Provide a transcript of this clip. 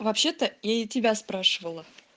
вообще-то я и тебя спрашивала